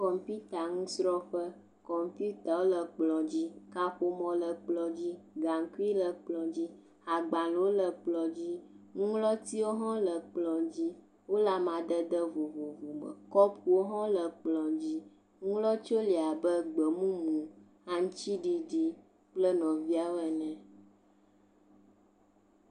Kɔmpita nusrɔ̃ƒe, kɔmpitawo le kplɔ dzi, kaƒomɔ le kplɔ dzi gaŋkui le kplɔ dzi, kapu le kplɔ dzi, agblẽwo le kplɔ dzi, nuŋlɔtiwo hã le kplɔ dzi, wole amadede vovovo me, kɔpuwo hã le kplɔ dzi, nuŋlɔtiwo le abe gbemumu aŋutiɖiɖi kple nɔviawo ene.